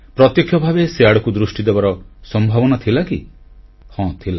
ପ୍ରତ୍ୟକ୍ଷ ଭାବେ ସେ ଆଡ଼କୁ ଦୃଷ୍ଟି ଦେବାର ସମ୍ଭାବନା ଥିଲା କି ହଁ ଥିଲା